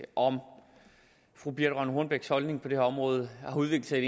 om fru birthe rønn hornbechs holdning på det her område har udviklet